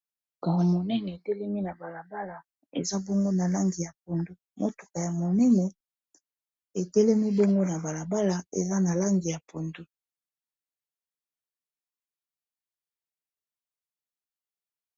Kare monene etelemi na balabala eza bongo na langi ya pundu, motuka ya monene etelemi bengo na balabala eza na langi ya pundo